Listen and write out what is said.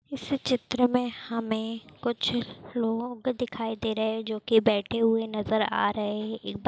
इस चित्र में हमे कुछ लोग दिखाई दे रहे हैं जो की बैठे हुए नजर आ रहे हैं एक--